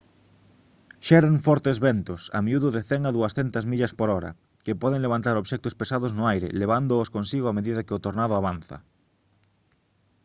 xeran fortes ventos a miúdo de 100 a 200 millas/hora e poden levantar obxectos pesados no aire levándoos consigo a medida que o tornado avanza